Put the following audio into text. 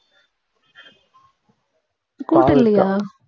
கூட்டு இல்லையா